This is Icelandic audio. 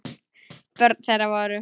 Börn þeirra voru